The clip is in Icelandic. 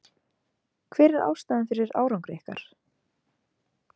Hver er ástæðan fyrir árangri ykkar?